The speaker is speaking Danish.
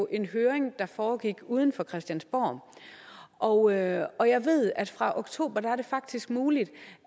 en høring der foregik uden for christiansborg og jeg og jeg ved at fra oktober er det faktisk muligt